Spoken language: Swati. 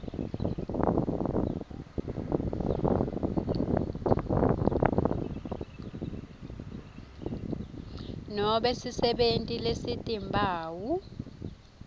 nobe sisebenti lesitimphawu